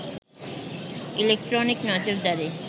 electronic নজরদারি